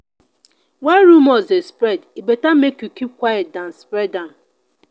when rumors dey spread e better make you keep quiet than spread am.